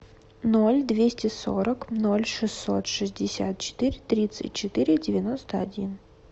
ноль двести сорок ноль шестьсот шестьдесят четыре тридцать четыре девяносто один